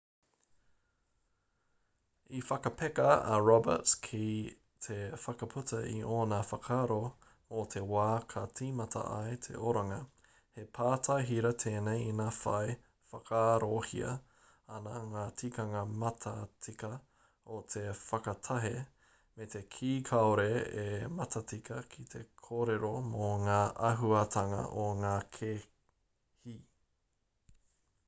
i whakapeka a roberts ki te whakaputa i ōna whakaaro mō te wā ka tīmata ai te oranga he pātai hira tēnei ina whai whakaarohia ana ngā tikanga matatika o te whakatahe me te kī kāore e matatika ki te kōrero mō ngā āhuatanga o ngā kēhi